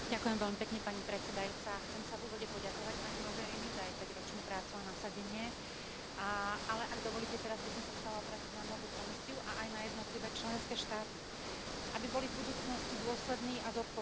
Pani predsedajúca, chcem sa v úvode poďakovať pani Mogherini za jej päťročnú prácu a nasadenie, ale ak dovolíte, teraz by som sa chcela obrátiť na novú Komisiu a aj na jednotlivé členské štáty, aby boli v budúcnosti dôslední a zodpovední.